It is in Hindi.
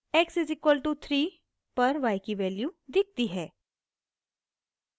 x =3 पर y की वैल्यू दिखती है